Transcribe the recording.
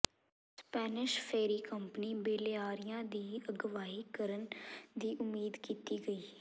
Spanish ferry company Balearia ਦੀ ਅਗਵਾਈ ਕਰਨ ਦੀ ਉਮੀਦ ਕੀਤੀ ਗਈ